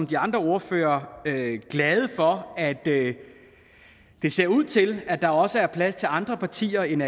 de andre ordførere glad for at det ser ud til at der også er plads til andre partier end